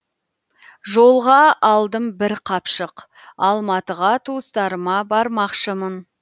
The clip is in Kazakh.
жолға алдым бір қапшық алматыға туыстарыма бармақшымын